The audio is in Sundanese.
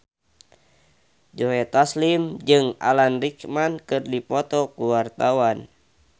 Joe Taslim jeung Alan Rickman keur dipoto ku wartawan